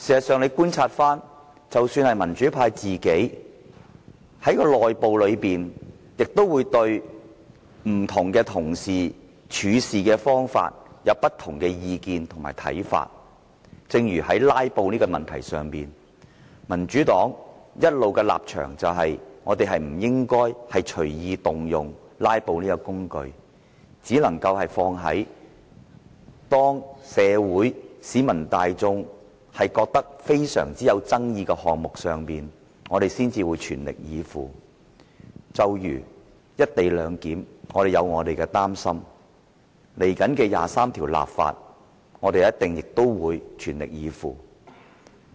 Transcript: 事實上，民主派內部也會對不同同事的處事方法有不同的意見和看法，正如在"拉布"的問題上，民主黨的立場一直認為不應隨意動用"拉布"這個工具，只能用在社會和市民大眾都覺得非常有爭議的項目上，我們才會全力以赴，正如"一地兩檢"，我們有所擔心，對於接下來的《基本法》第二十三條立法，我們亦一定會全力以赴。